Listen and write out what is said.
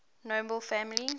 nobel family